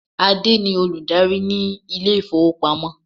Adé ni olùdarí ni ilé ifowopamo.